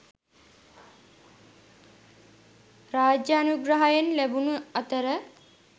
රාජානුග්‍රහයෙන් ලැබුණු අතර